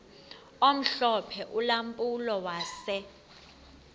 omhlophe ulampulo wase